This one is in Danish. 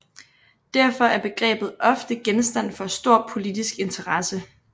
Derfor er begrebet ofte genstand for stor politisk interesse